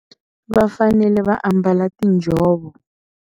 Vafanele va ambala tinjhovo.